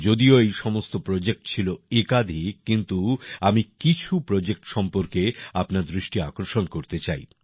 যদিও এই সমস্ত প্রোজেক্ট ছিল একাধিক কিন্তু আমি কিছু প্রোজেক্ট সম্পর্কে আপনার দৃষ্টি আকর্ষণ করতে চাই